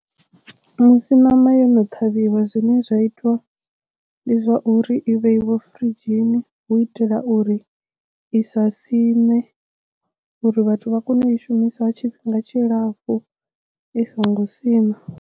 Musi ṋama yo no ṱhavhiwa zwine zwa itiwa ndi zwa uri i vheiwa furidzhini hu u itela uri i sa siṋe uri vhathu vha kone u i shumisa tshifhinga tshilapfhu i songo siṋa.